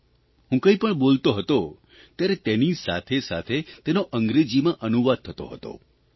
જ્યારે હું કંઇ પણ બોલતો હતો ત્યારે તેની સાથેસાથે તેનો અંગ્રેજીમાં અનુવાદ થતો હતો